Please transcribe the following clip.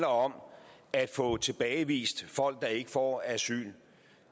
om at få tilbagevist folk der ikke får asyl